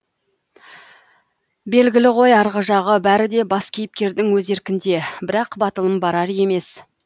белгілі ғой арғы жағы бәрі де бас кейіпкердің өз еркінде бірақ батылым барар емес